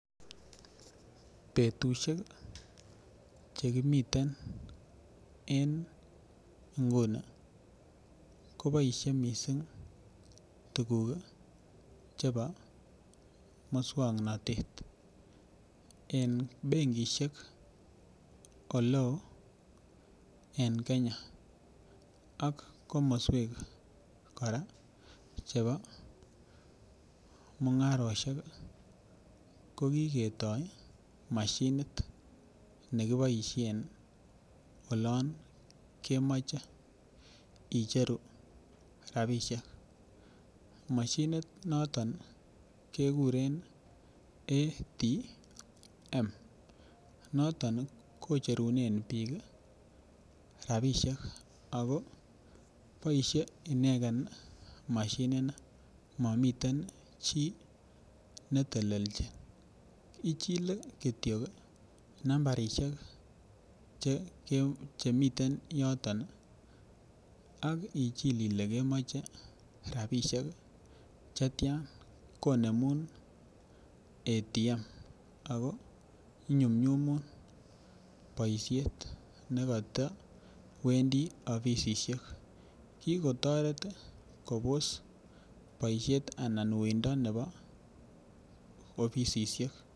Betushek chekimiten en inguni kiboishen missing tukuk chebo miswoknotet en benkishek ole en Kenya ak komoswek koraa chebo mungaroshek ko kiketoo moshinishek chekiboishen olon kemoche icheru rabishek, moshinishek niton kekuren ATM niton kocherunen bik kii rabishek ako boishet inegen moshini nii momiten chii netelelchin ichile kityok nambarishek chemiten yoton ak ichil ile kemoche rabishek chetyan konemun ATM Ako inyumnyumun boishet nekotewendii offisiek. Kikotoret kobos boishet anan uindo nebo offisiek.